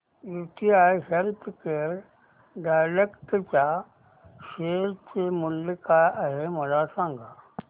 UTI healthcare direct च्या share चे मूल्य काय आहे मला सांगा